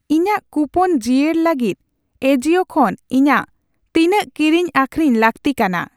ᱤᱧᱟᱜ ᱠᱩᱯᱚᱱ ᱡᱤᱭᱟᱹᱲ ᱞᱟᱹᱜᱤᱫ ᱮᱟᱡᱤᱭᱳ ᱠᱷᱚᱱ ᱤᱧᱟᱜ ᱛᱤᱱᱟᱹᱜ ᱠᱤᱨᱤᱧ ᱟᱹᱠᱷᱨᱤᱧ ᱞᱟᱹᱜᱛᱤ ᱠᱟᱱᱟ ᱾